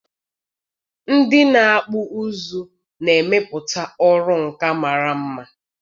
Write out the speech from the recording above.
Ndị na-akpụ ụzụ na-emepụta ọrụ nka mara mma..